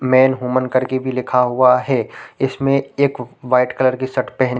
main women करके भी लिखा हुआ है इसमें एक वाइट कलर शर्ट पहन--